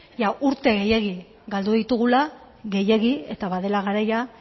urte gehiegi galdu ditugula gehiegi eta badela garaia